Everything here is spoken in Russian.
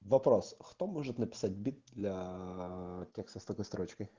вопрос кто может написать бит для текста с такой строчкой